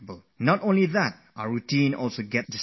Not just that, our entire routine collapses